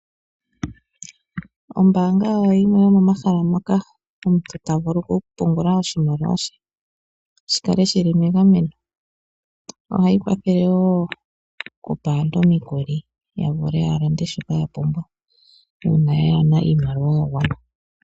Ombaanga oyo yimwe yomomahala mola omuntu ta vulu okupungula oshimaliwa she shi kale megameno. Ohayi kwathele wo okupa aantu omikuli ya vule ya lande shoka ya pumbwa uuna kayena iimaliwa ya gwana.